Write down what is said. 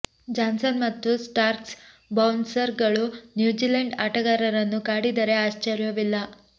Johnson ಮತ್ತು Starc bouncer ಗಳು New Zealand ಆಟಗಾರರನ್ನು ಕಾಡಿದರೆ ಆಶ್ಚರ್ಯವಿಲ್ಲ